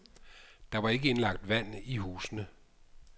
Der var ikke indlagt vand i husene.